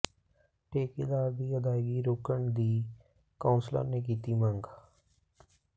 ਠੇਕੇਦਾਰ ਦੀ ਅਦਾਇਗੀ ਰੋਕਣ ਦੀ ਕੌ ਾਸਲਰ ਨੇ ਕੀਤੀ ਮੰਗ